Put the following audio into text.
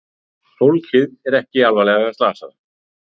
Fólkið er ekki alvarlega slasað